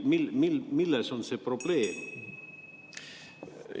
Milles see probleem on?